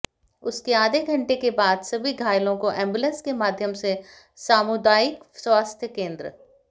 उसके आधे घंटे के बाद सभी घायलों को एंबुलेंस के माध्यम से सामुदायिक स्वास्थ्य केंद्र